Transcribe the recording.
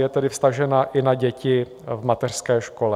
Je tedy vztažena i na děti v mateřské škole.